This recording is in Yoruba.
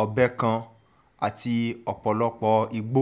ọbẹ̀ kan àti ọ̀pọ̀lọpọ̀ igbó